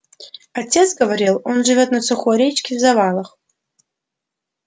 отец говорил он живёт на сухой речке в завалах